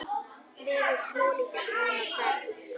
Verið svolítið einn á ferð?